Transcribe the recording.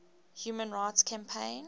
human rights campaign